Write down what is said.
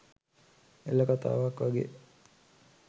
එල කතාවක් වගේ